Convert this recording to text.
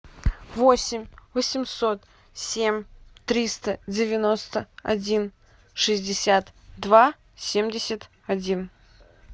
восемь восемьсот семь триста девяносто один шестьдесят два семьдесят один